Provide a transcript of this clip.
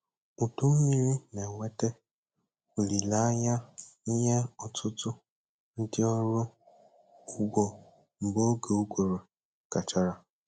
Udu mmiri na-eweta olileanya nye ọtụtụ ndị ọrụ ugbo mgbe oge ụguru gachara.